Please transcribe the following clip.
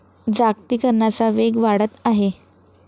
जागतिकरणाचा वेग वाढत आहे.